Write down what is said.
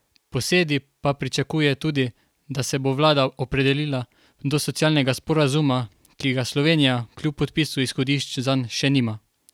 Posedi pa pričakuje tudi, da se bo vlada opredelila do socialnega sporazuma, ki ga Slovenija, kljub podpisu izhodišč zanj, še nima.